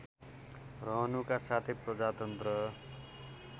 रहनुका साथै प्रजातन्त्र